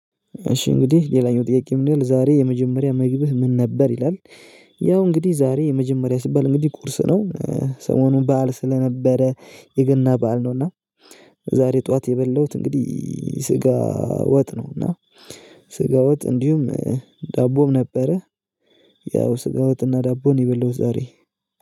እሺ እንግዲህ ሌላኛው ጥያቄ ምን ይላል ዛሬ የመጀመሪያ ምግብህ ምን ነበር ይላል? ያው እንግዲህ ዛሬ የመጀመሪያ ሲባል እንግዲህ ቁርስ ነው ሰሞኑን በዓል ስለነበረ የገና በዓል ነው እና ዛሬ ጠዋት የበላሁት እንግዲህ ስጋ ወጥ ነው። እና ስጋ ወጥ እንዲሁም ዳቦም ነበረ። ያው ስጋ ወጥና ዳቦ የበላሁት ዛሬ